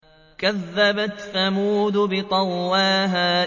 كَذَّبَتْ ثَمُودُ بِطَغْوَاهَا